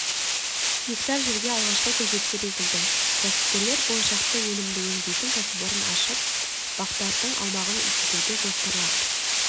гектар жерге алғашқы көшеттер егілді кәсіпкерлер болашақта өнімді өңдейтін кәсіпорын ашып бақтардың аумағын үлкейтуді жоспарлап